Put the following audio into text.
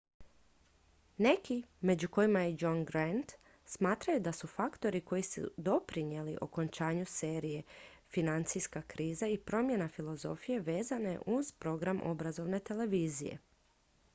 neki među kojima i john grant smatraju da su faktori koji su doprinijeli okončanju serije financijska kriza i promjena filozofije vezane uz program obrazovne televizije